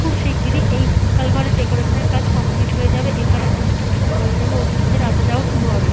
খুব শিগগিরি এই হল ঘরের ডেকোরেশন এর কাজ কমপ্লিট হয়ে যাবে। এখানে অনুষ্ঠান শুরু হয়ে যাবে অতিথি দের আসা যাওয়া শুরু হবে।